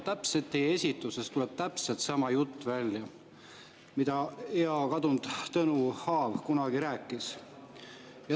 Teie esituses tuleb välja täpselt sama jutt, mida hea kadunud Tõnu Aav kunagi rääkis.